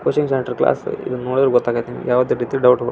White board ಚಿತ್ರ ಬಿಡಸ್ಯಾ.